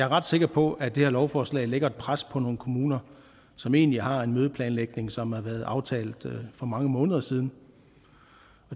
ret sikker på at det her lovforslag lægger et pres på nogle kommuner som egentlig har en mødeplanlægning som har været aftalt for mange måneder siden